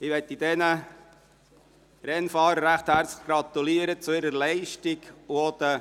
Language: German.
Ich möchte diesen Rennfahrern recht herzlich zu ihrer Leistung gratulieren.